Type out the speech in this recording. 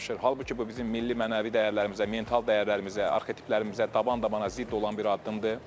Halbuki bu bizim milli mənəvi dəyərlərimizə, mental dəyərlərimizə, arxetiplərimizə taban-tabana zidd olan bir addımdır.